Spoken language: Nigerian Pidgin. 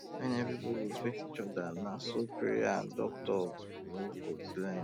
when everybody respect each other na so prayer and doctor work go blend